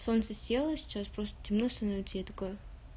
солнце село сейчас просто темно становится я такая